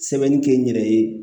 Sɛbɛnni kɛ n yɛrɛ ye